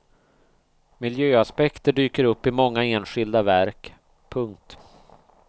Miljöaspekter dyker upp i många enskilda verk. punkt